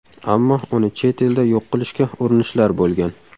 Ammo uni chet elda yo‘q qilishga urinishlar bo‘lgan.